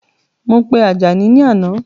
Mo pe Àjàní ni àná